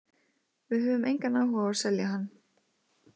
Við höfum engan áhuga á að selja hann.